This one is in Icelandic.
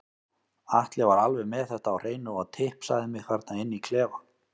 Atli var alveg með þetta á hreinu og tipsaði mig þarna inni í klefa.